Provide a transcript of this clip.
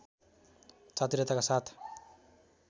चातुर्यताका साथ